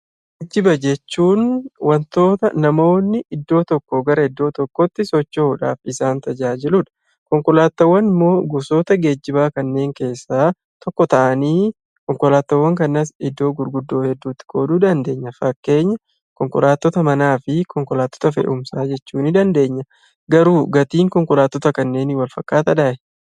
Geejjiba jechuun wantoota namoonni iddoo tokkoo gara iddoo tokkootti socho'uudhaaf isaan tajaajiludha konkolaataawwan immoo gosoota geejjibaa kanneen keessaa tokko ta'anii konkolaataawwan kanas iddoo gurguddoo hedduutti qooduu dandeenya fakkeenya konkolaattota manaa fi konkolaattota fe'umsaa jechuu ni dandeenya. Garuu gatiin konkolaattota kanneenii wal fakkaataadhaa?